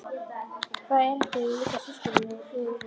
Hvaða erindi á ég líka til systur hennar í Firðinum?